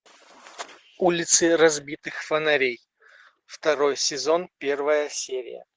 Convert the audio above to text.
улицы разбитых фонарей второй сезон первая серия